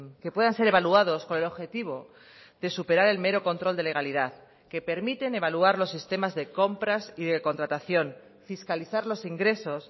que puedan ser evaluados con el objetivo de superar el mero control de legalidad que permiten evaluar los sistemas de compras y de contratación fiscalizar los ingresos